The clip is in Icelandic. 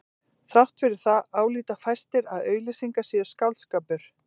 Þrátt fyrir það álíta fæstir að auglýsingar séu skáldskapur.